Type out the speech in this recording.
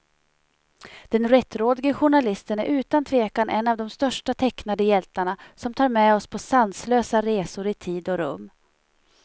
Den rättrådige journalisten är utan tvekan en av de största tecknade hjältarna, som tar med oss på sanslösa resor i tid och rum.